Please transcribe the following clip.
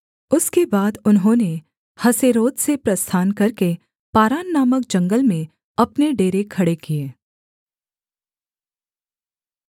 उसके बाद उन्होंने हसेरोत से प्रस्थान करके पारान नामक जंगल में अपने डेरे खड़े किए